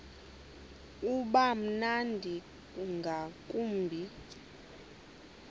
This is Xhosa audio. uba mnandi ngakumbi